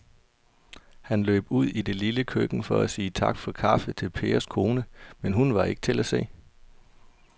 Han løb ud i det lille køkken for at sige tak for kaffe til Pers kone, men hun var ikke til at se.